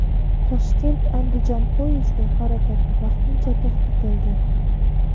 Toshkent Andijon poyezdi harakati vaqtincha to‘xtatildi.